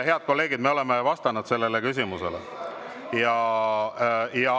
Head kolleegid, me oleme vastanud sellele küsimusele.